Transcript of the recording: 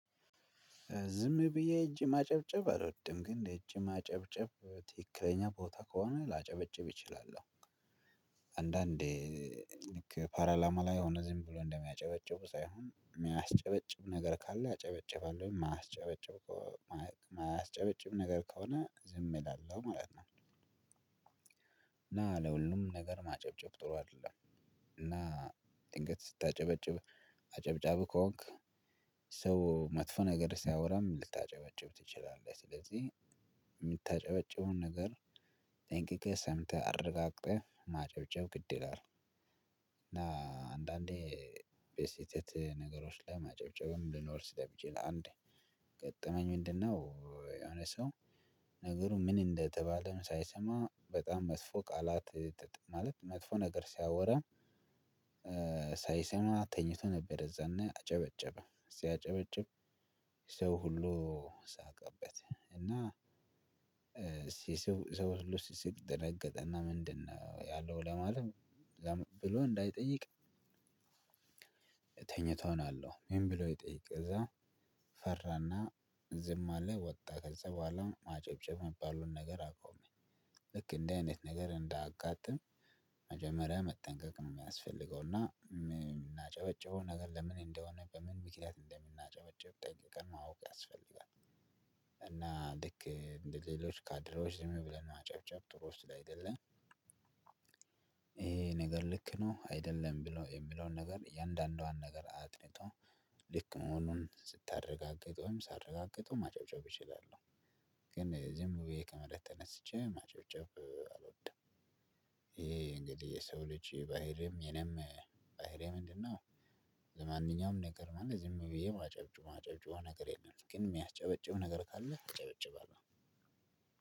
ዝም ብዬ ሄጅ ማጨብጨብ አልወድም ግን በእጅ ማጨብጨብ ትክክለኛ ቦታ ከሆነ ላጨበጭብ እችላለሁ። አንዳንዴ ልክ ፓርላማ ላይ የሆነ ዝም ብሎ እንደሚያጨበጭቡ ሳይሆን የሚያስጨበጭብ ነገር ካለ አጨበጭባለሁ የማያስጨበጭብ ከሆነ ዝም ይላል ማለት ነው። እና ለሁሉም ነገር ማጨብጨብ ጥሩ አይደለም። እና ድንገት ስታጨበጭብ አጨብጫቢ ከሆንክ ሰው መጥፎ ነገር ሲያወራም ልታጨበጭብ ትችላለህ። ስለዚህ የምታጨበጭበውን ነገር ጠንቅቀህ ሰምተህ አረጋግጠህ ማጨብጨብ ግድ ይላል። እና አንዳንዴ በስህተት ነገሮች ላይ ማጨብጨብም ሊኖር ስለሚችል አንዴ ገጠመኝ ምንድነው? የሆነ ሰው ነገሩ ምን እንደተባለም ሳይሰማ በጣም መጥፎ ቃላት ማለት መጥፎ ነገር ሲያወራ። ሳይሰማ ተኝቶ ነበር የዛኔ አጨበጨበ ሲያጨበጭብ። ሰው ሁሉ ሳቀበት። እና ሰው ሁሉ ሲስቅ ደነገጠ እና ምንድነው ያለው ለማለት ብሎ እንዳይጠይቅ። ተኝቶአል አለው ምን ብሎ ይጠይቅ? እዛ ፈራና ዝም አለ ወጣ ከዛ በኋላ ማጨብጨብ የሚባሉን ነገር አቆመኝ። ልክ እንደዚህ አይነት ነገር እንዳያጋጥም። መጀመሪያ መጠንቀቅ ነው የሚያስፈልገው እና የምናጨበጭበው ነገር ለምን እንደሆነ በምን ምክንያት እንደምናጨበጭብ ጠንቀቅን ማወቅ ያስፈልጋል። እና ልክ እንደ ሌሎች ካድሬዎች ዝም ብለን ማጨብጨብ ጥሩ ውስጥ ላይ አይደለም። ይሄ ነገር ልክ ነው አይደለም ብሎ የሚለውን ነገር እያንዳንዷን ነገር አጥንቶ ልክ መሆኑን ስታረጋግጠውም ሳረጋግጠውም ማጨብጨብ እችላለሁ። ግን ዝም ብዬ ከመሬት ተነስቼ ማጨብጨብ አልወድም። ይሄ እንግዲህ የሰው ልጅ ባህሪም የኔም ባህሪ ምንድነው? ለማንኛውም ነገር ማለት ዝም ብዬ እማጨብጩ ማጨብጩ ነገር የለም። ግን የሚያስጨበጭብ ነገር ካለ አጨበጭባለሁ አይደለም።